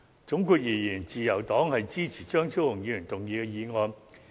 總括而言，自由黨支持張超雄議員動議的議案。